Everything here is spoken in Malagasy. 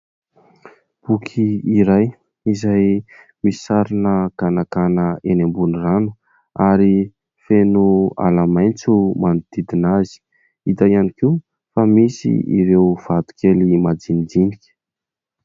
Boky iray izay misy sarina ganagana eny ambony rano ary feno ala maitso manodidina azy. Hita ihany koa fa misy ireo vato kely madinidinika.